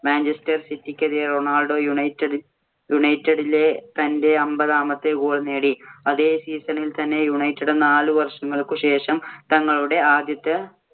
Manchester സിറ്റിക്കെതിരെ Ronaldo യുണൈറ്റഡിലെ തന്‍റെ അമ്പതാമത്തെ goal നേടി. അതേ season ഇല്‍ തന്നെ യുണൈറ്റഡ് നാലു വർഷങ്ങൾക്കു ശേഷം തങ്ങളുടെ ആദ്യത്തെ